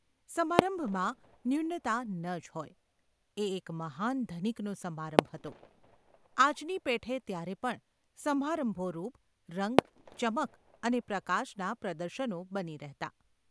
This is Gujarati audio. સમારંભમાં ન્યૂનતા ન જ હોય – એ એક મહાન ધનિકનો સમારંભ હતો ! આજની પેઠે ત્યારે પણ સમારંભો રૂપ, રંગ, ચમક અને પ્રકાશનાં પ્રદર્શનો બની રહેતાં.